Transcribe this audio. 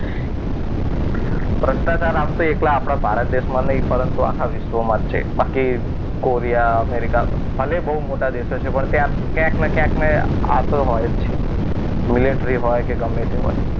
ભ્રષ્ટાચાર આમ તો એકલા આપણા ભારત દેશમાં નહીં પરંતુ આખા વિશ્વમાં જ છે. બાકી કોરિયા અમેરિકા ભલે બહુ મોટા દેશો છે. પણ ત્યાં ક્યાંક ને ક્યાંક આ તો હોય જ છે. મિલિટરી હોય કે ગમે તે હોય.